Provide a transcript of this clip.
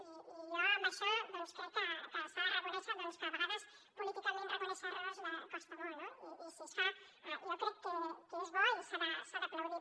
i jo amb això crec que s’ha de reconèixer doncs que a vegades políticament reconèixer errors costa molt no i si es fa jo crec que és bo i s’ha d’aplaudir